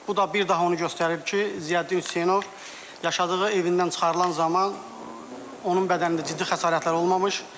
Bu da bir daha onu göstərir ki, Ziyəddin Hüseynov yaşadığı evindən çıxarılan zaman onun bədənində ciddi xəsarətlər olmamış,